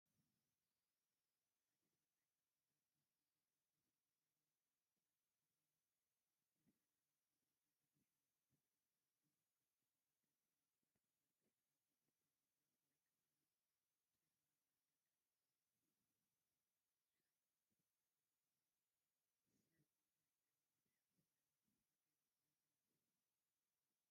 ሓደ ሰብኣይ ኣብ መንበር ኮፍ ኢሉ ኣሎ። ሰማያዊ ካምቻን ቁሩብ ዝተፈላለየ ሕብሪ ዘለዎ ሸሚዝን ተኸዲኑ ኣሎ። ቅልጽሙ በቲ መንበር ተዘርጊሑ ኣሎ። እቲ መድረኽ ወይ ከባቢ ግራጭ መንደቕን ግራጭ መሬትን ኣለዎ። እዚ ሰብ እንታይ ዓይነት ሓሳብ ዝገልፅ ዘሎ ይመስለኩም?